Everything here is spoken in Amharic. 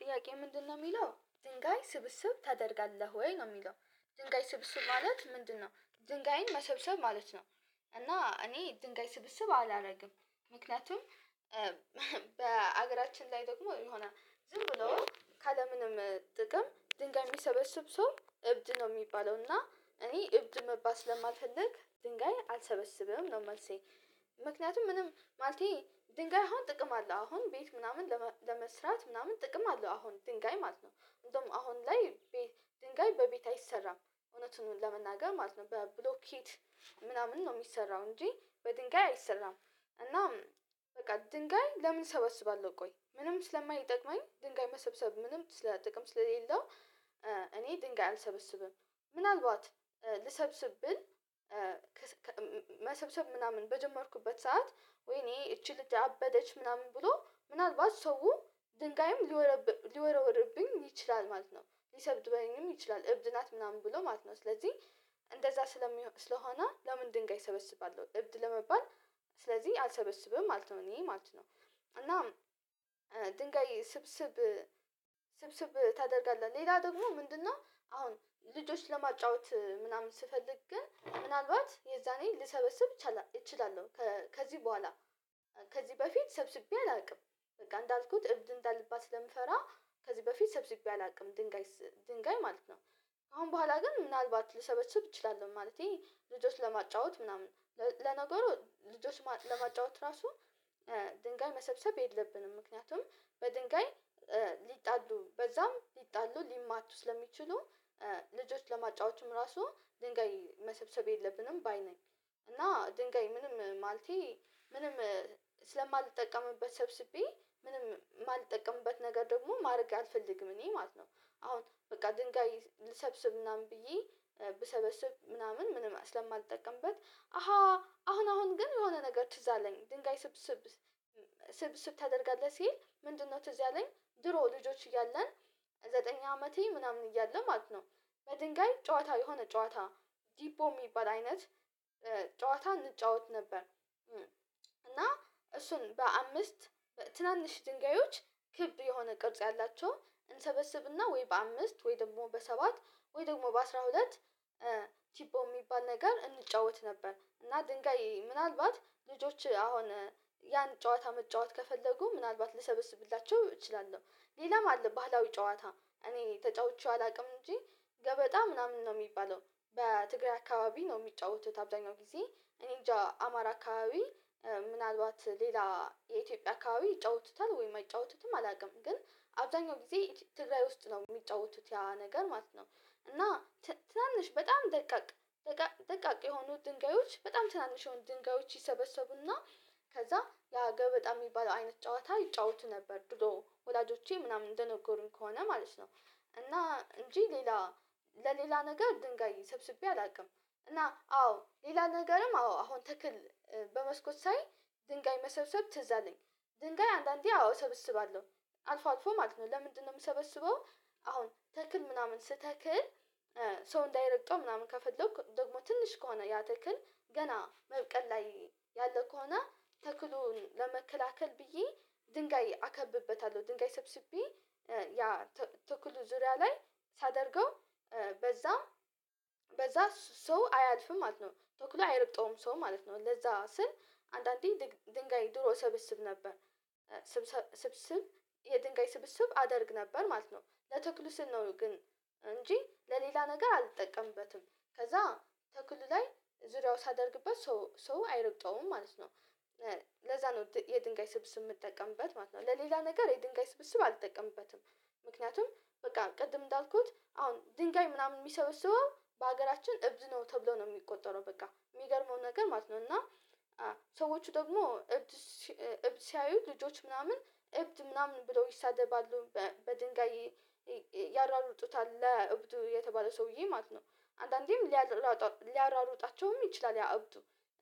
ጥያቄ ምንድነው የሚለው ድንጋይ ስብስብ ታደርጋለህ ወይ? ነው የሚለው ድንጋይ ስብስብ ማለት ምንድነው ድንጋይን መሰብሰብ ማለት ነው እና እኔ ድንጋይ ስብስብ አላደርግም ምክንያቱም በሀገራችን ላይ ደግሞ ይሆናል ዝም ብሎ ካለምንም ጥቅም ድንጋይ የሚሰበስብ ሰው እብድ ነው የሚባለው እና እኔ እብድ መባል ስለማልፈልግ ድንጋይ አልሰበስብም ነው መልሴ ምክንያቱም ምንም ማለቴ ድንጋይ አሁን ጥቅም አለ አለው አሁን ቤት ምናምን ለመስራት ምናምን ጥቅም አለው አሁን ድንጋይ ማለት ነው እንደውም አሁን ላይ ድንጋይ በቤት አይሰራም እውነቱን ለመናገር ማለት ነው በብሎኬት ምናምን ነው የሚሰራው እንጂ በድንጋይ አይሰራም እናም በቃ ድንጋይ ለምን እሰበስባለሁ ቆይ ምንም ስለማይጠቅመኝ ድንጋይ መሰብሰብ ምንም ስለጥቅም ስለሌለው እኔ ድንጋይ አልሰበስብም ምናልባት ልሰብስብ ብል መሰብሰብ ምናምን በጀመርኩበት ሰዓት ወይኔ እቺ ልጅ አደበደች ምናምን ብሎ ምናልባት ሰው ድንጋይም ሊወረ ሊወረውርብኝ ይችላል ማለት ነው ሊሰብድበኝም ይችላል እብድ ናት ምናምን ብሎ ማለት ነው ስለዚህ እንደዛ ስለሆነ ለምን ድንጋይ ሰበስባለሁ እብድ ለመባል ስለዚህ አልሰበስብም ማለት ነው እኔ ማለት ነው እና ድንጋይ ስብስብ ስብስብ ታደርጋለህ ሌላ ደግሞ ምንድነው አሁን ልጆች ለማጫወት ምናምን ስፈልግ ግን ምናልባት የዛኔ ልሰበስብ እችላለሁ ከዚህ በኋላ ከዚህ በፊት ሰብስቤ አላውቅም በቃ እንዳልኩት እብድ እንዳልባል ስለምፈራ ከዚህ በፊት ሰብስቤ አላውቅም ድንጋይ ድንጋይ ማለት ነው አሁን በኋላ ግን ምናልባት ልሰበስብ እችላለሁ ማለቴ ልጆች ለማጫወት ምናምን ለነገሩ ልጆች ማ ለማጫወት ራሱ ድንጋይ መሰብሰብ የለብንም ምክንያቱም በድንጋይ ሊጣሉ በዛም ሊጣሉ ሊማቱ ስለሚችሉ ልጆች ለማጫዎትም ራሱ ድንጋይ መሰብሰብ የለብንም ባይ ነኝ እና ድንጋይ ምንም ማለቴ ምንም ስለማልጠቀምበት ሰብስቤ ምንም የማልጠቀምበት ነገር ደግሞ ማድረግ አልፈልግም እኔ ማለት ነው አሁን በቃ ድንጋይ ልሰብስብ ምናምን ብዬ ብሰበስብ ምናምን ምንም ስለማልጠቀምበት አሃ አሁን አሁን ግን የሆነ ነገር ትዝ አለኝ ድንጋይ ስብስብ ስብስብ ታደርጋለህ ሲል ምንድነው ትዝ ያለኝ ድሮ ልጆች እያለን ዘጠኝ አመቴ ምናምን እያለ ማለት ነው በድንጋይ ጨዋታ የሆነ ጨዋታ ዲፖ የሚባል አይነት ጨዋታ እንጫወት ነበር እና እሱን በአምስት ትናንሽ ድንጋዮች ክብ የሆነ ቅርጽ ያላቸውን እንሰበስብና ወይ በአምስት ወይ ደግሞ በሰባት ወይ ደግሞ በአስራ ሁለት የሚባል ነገር እንጫወት ነበር እና ድንጋይ ምናልባት ልጆች አሁን ያን ጨዋታ መጫወት ከፈለጉ ምናልባት ልሰብስብላቸው እችላለሁ ሌላም አለ ባህላዊ ጨዋታ እኔ ተጫውቼው አላውቅም እንጂ ገበጣ ምናምን ነው የሚባለው በትግራይ አካባቢ ነው የሚጫወቱት አብዛኛው ጊዜ እኔ እንጃ አማራ አካባቢ ምናልባት ሌላ የኢትዮጵያ አካባቢ ይጫወቱታል ወይም አይጫወቱትም አላውቅም ግን አብዛኛው ጊዜ ትግራይ ውስጥ ነው የሚጫወቱት ያ ነገር ማለት ነው እና ትናንሽ በጣም ደቃቅ ደቃቅ የሆኑ ድንጋዮች በጣም ትናንሽ የሆኑ ድንጋዮች ይሰበሰቡና ከዛ ያ ገበጣ የሚባለው አይነት ጨዋታ ይጫወቱ ነበር ድሮ ወላጆቼ ምናምን እንደነገሩኝ ከሆነ ማለት ነው እና እንጂ ሌላ ለሌላ ነገር ድንጋይ ሰብስቤ አላውቅም እና አዎ ሌላ ነገርም አዎ አሁን ተክል በመስኮት ሳይ ድንጋይ መሰብሰብ ትዝ አለኝ ድንጋይ አንዳንዴ አዎ እሰብስባለሁ አልፎ አልፎ ማለት ነው ለምንድነው የምሰበስበው አሁን ተክል ምናምን ስተክል ሰው እንዳይረግጠው ምናምን ከፈለኩ ደግሞ ትንሽ ከሆነ ያ ትክል ገና መብቀል ላይ ያለው ከሆነ ተክሉን ለመከላከል ብዬ ድንጋይ አከብበታለሁ ድንጋይ ሰብስቤ ያ ተክሉ ዙሪያ ላይ ሳደርገው በዛ በዛ ሰው አያልፍም ማለት ነው ተኩሎ አይረብጠውም ሰው ማለት ነው ለዛ ስል አንዳንዴ ድንጋይ ድሮ እሰብስብ ነበር ስብስብ የድንጋይ ስብስብ አደርግ ነበር ማለት ነው ለትክሉ ስል ነው ግን እንጂ ለሌላ ነገር አልጠቀምበትም ከዛ ተክል ላይ ዙሪያው ሳደርግበት ሰው ሰው አይረግጠውም ማለት ነው ለዛ ነው የድንጋይ ስብስብ የምጠቀምበት ማለት ነው ለሌላ ነገር የድንጋይ ስብስብ አልጠቀምበትም ምክንያቱም በቃ ቅድም እንዳልኩት አሁን ድንጋይ ምናምን የሚሰበስበው በሀገራችን እብድ ነው ተብሎ ነው የሚቆጠረው በቃ የሚገርመው ነገር ማለት ነው እና ሰዎቹ ደግሞ እብድ እብድ ሲያዩ ልጆች ምናምን እብድ ምናምን ብለው ይሳደባሉ በድንጋይ ያራሩጡታል እብዱ የተባለ ሰውዬ ማለት ነው አንዳንዴም ሊያራሩጥ ሊያሯሩጣቸውም ይችላል ያ አብዱ